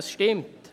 Das stimmt.